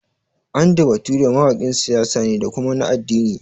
Andy Bature mawaƙin siyasa ne da kuma na addini